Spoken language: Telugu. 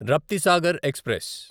రప్తిసాగర్ ఎక్స్ప్రెస్